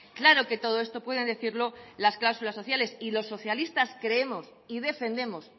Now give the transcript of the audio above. claro que todo esto pueden decirlo las cláusulas sociales y los socialistas creemos y defendemos